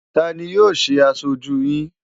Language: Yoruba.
Ta ni yóò ṣe aṣojú yín?